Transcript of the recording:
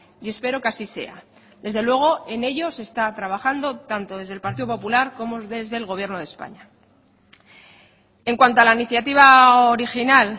y espero que así sea desde luego en ello se está trabajando tanto desde el partido popular como desde el gobierno de españa en cuanto a la iniciativa original